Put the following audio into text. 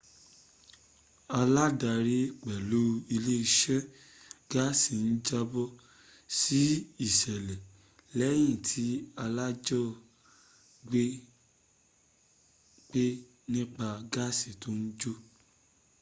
aládarí pẹ̀lú iléeṣẹ́ gáàsì ń jábọ̀ sí ìṣẹ̀lẹ̀ lẹ́yìn tí alájọgbé pè nípa gáàsì tó ń jò